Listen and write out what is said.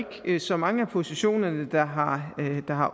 ikke så mange af positionerne der har